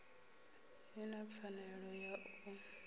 i na pfanelo ya u